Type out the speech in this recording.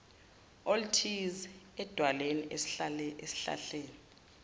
oluthize edwaleni esihlahleni